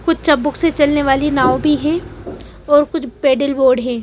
कुछ चपबुक से चलने वाली नाव भी है और कुछ पेडल बोर्ड हैं।